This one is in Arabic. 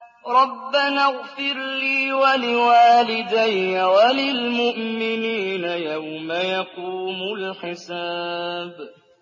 رَبَّنَا اغْفِرْ لِي وَلِوَالِدَيَّ وَلِلْمُؤْمِنِينَ يَوْمَ يَقُومُ الْحِسَابُ